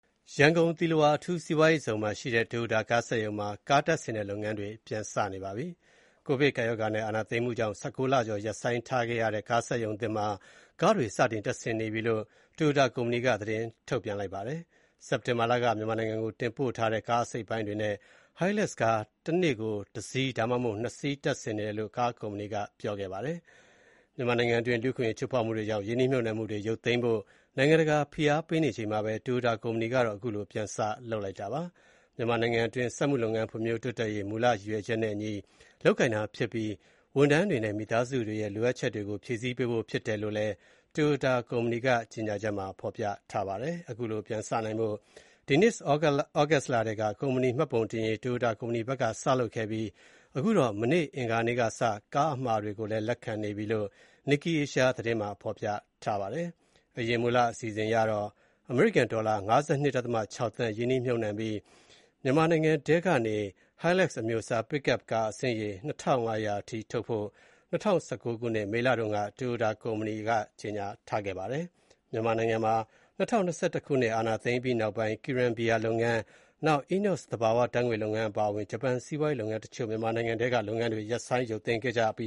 ရန်ကုန်သီလဝါအထူးစီးပွားရေးဇုံမှာရှိတဲ့ Toyota ကားစက်ရုံမှာ ကားတပ်ဆင်တဲ့လုပ်ငန်းတွေ ပြန်လည် စတင်နေပါတယ်။ ကိုဗစ်ကပ်ရောဂါနဲ့ အာဏာသိမ်းမှုကြောင့် ၁၉ လကျော်ကြာ ရပ်ဆိုင်းထားရတဲ့ ကားစက်ရုံသစ်မှာ ကားတွေကို စတင်တပ်ဆင်နေပြီလို့ Toyota ကုမ္ပဏီက သတင်းထုတ်ပြန်ပါတယ်။ စက်တင်ဘာလက မြန်မာနိုင်ငံကိုတင်ပို့ထားတဲ့ ကားအစိတ်အပိုင်းတွေနဲ့ (Hilux) ဟိုင်းလက်စ်ကား တနေ့ကို ၁ စီး ဒါမှမဟုတ် ၂ စီး တပ်ဆင်နေတယ်လို့ ကားကုမ္ပဏီက ပြောပါတယ်။ မြန်မာနိုင်ငံအတွင်း လူ့အခွင့်အရေး ချိုးဖောက်မှုတွေကြာင့် ရင်းနှီးမြှုပ်နှံမှုတွေ ရုပ်သိမ်းဖို့ နိုင်ငံတကာက ဖိအားပေးနေချိန်မှာပဲ Toyota ကုမ္ပဏီကတော့ အခုလို ပြန်စလုပ်လိုက်တာပါ။ မြန်မာနိုင်ငံအတွင်း စက်မှုလုပ်ငန်း ဖွံ့ဖြိုးတိုးတက်ရေး မူလရည်ရွယ်ချက်နဲ့အညီ လုပ်ကိုင်တာဖြစ်ပြီး ဝန်ထမ်းတွေနဲ့ မိသားစုတွေရဲ့လိုအပ်ချက်တွေကို ဖြည့်ဆည်းပေးဖို့ ဖြစ်တယ်လို့လည်း Toyota ကုမ္ပဏီက ကြေညာချက်မှာ ဖော်ပြထားပါတယ်။ အခုလို ပြန်စနိုင်ဖို့ ဒီနှစ် သြဂုတ်လထဲက ကုမ္ပဏီမှတ်ပုံတင်ရေး Toyota ကုမ္ပဏီက စလုပ်ခဲ့ပြီး အခုတော့ မနေ့ အင်္ဂါကစပြီး ကားအမှာတွေ လက်ခံနေပြီလို့လည်း Nikkei Asia သတင်းမှာ ဖော်ပြထားပါတယ်။ အရင်မူလ အစီအစဉ်အရတော့ အမေရိကန်ဒေါ်လာ ၅၂.၆ သန်း ရင်းနှီးမြှုပ်နှံပြီး တနှစ်ကို မြန်မာနိုင်ငံထဲကနေ Hilux အမျိုးအစား Pickup ကား အစင်းရေ ၂,၅၀၀ ထုတ်ဖို့ ၂၀၁၉ ခုနှစ် မေလတုန်းက Toyota ကုမ္ပဏီက ကြေညာထားပါတယ်။ မြန်မာနိုင်ငံမှာ ၂၀၂၁ ခုနှစ် စစ်အာဏာသိမ်းပြီးနောက်ပိုင်း Kiren ဘီယာလုပ်ငန်း၊ ENEOS သဘာဝဓါတ်ငွေ့ လုပ်ငန်းအပါအဝင် ဂျပန်စီးပွားရေးလုပ်ငန်းတချို့ မြန်မာနိုင်ငံထဲက လုပ်ငန်းတွေ ရပ်ဆိုင်းရုပ်သိမ်းခဲ့ကြပ